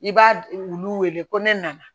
I b'a wulu wele ko ne nana